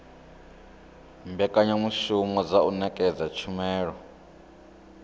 mbekanyamushumo dza u ṅetshedza tshumelo